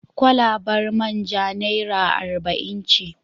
Kwalabar man ja naira arba'in ce.